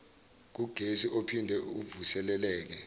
kugesi ophinde uvuseleleke